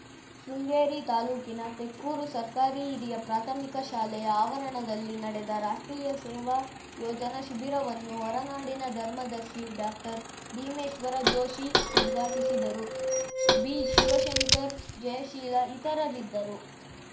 ಶೃಂಗೇರಿ ತಾಲೂಕಿನ ತೆಕ್ಕೂರು ಸರ್ಕಾರಿ ಹಿರಿಯ ಪ್ರಾಥಮಿಕ ಶಾಲೆಯ ಆವರಣದಲ್ಲಿ ನಡೆದ ರಾಷ್ಟ್ರೀಯ ಸೇವಾ ಯೋಜನಾ ಶಿಬಿರವನ್ನು ಹೊರನಾಡಿನ ಧರ್ಮದರ್ಶಿ ಡಾಕ್ಟರ್ಭೀಮೇಶ್ವರ ಜೋಷಿ ಉದ್ಘಾಟಿಸಿದರು ಬಿಶಿವಶಂಕರ್‌ ಜಯಶೀಲ ಇತರರಿದ್ದರು